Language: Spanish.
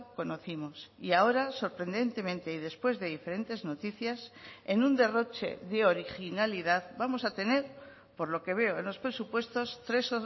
conocimos y ahora sorprendentemente y después de diferentes noticias en un derroche de originalidad vamos a tener por lo que veo en los presupuestos tres